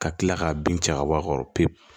Ka kila k'a bin cɛ ka bɔ a kɔrɔ pewu